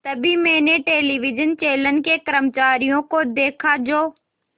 तभी मैंने television channel के कर्मचारियों को देखा जो